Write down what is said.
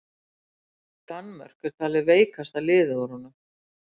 Danmörk er talið veikasta liðið úr honum.